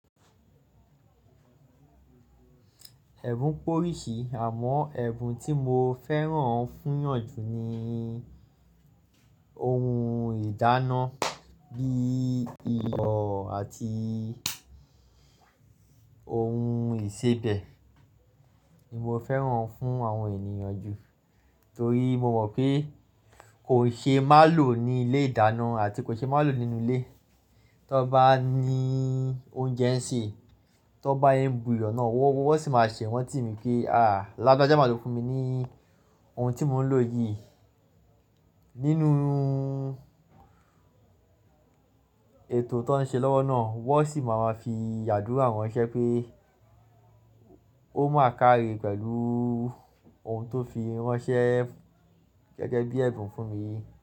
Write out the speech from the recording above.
Ẹ̀bùn pé oríṣì, àmọ́ ẹ̀bùn tí mo fẹ́ràn fún yàn jù ni ohun ìdáná bí i iyọ̀ àti ohun ìsebẹ̀ ni mo fẹ́ràn fún àwọn ènìyàn jù. Torí mo mọ̀ pé kò ṣe má lò ní ilé ìdáná àti kò ṣe má lò nínú ilé. Tó bá ní oúnjẹ ń ṣe, tó bá ń bu iyọ̀ náà wọ́n sì máa ṣe iranti mí pé, "à lágbaja máa lò fún mi ní ohun tí mò ń lò yìí nínú ètò tó ń ṣe lọ́wọ́ náà." Wọ́n sì máa ma fi àdúrà ránṣẹ́ pé ó máa kárí pẹ̀lú ohun tó fi ránṣẹ́ gẹ́gẹ́ bí ẹ̀bùn fún mi.